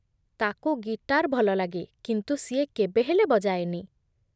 ତାକୁ ଗିଟାର୍ ଭଲଲାଗେ, କିନ୍ତୁ ସିଏ କେବେ ହେଲେ ବଜାଏନି ।